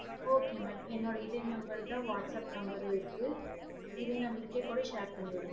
okay mam என்னோட இதே number தான் whatsapp number இருக்கு இதே number வேன்னுனாலும் share பண்ணி விடுங்க